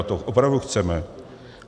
A to opravdu chceme?